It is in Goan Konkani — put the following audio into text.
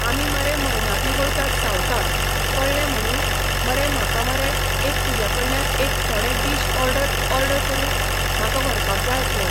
आमी मरे मयनापी वयतात सावथाक कळ्ळें म्हणून मरे म्हाका मरे एक तुज्या कडल्यान एक थोडे डीश ऑर्डर ऑर्डर करून म्हाका व्हरपाक जाय आसले.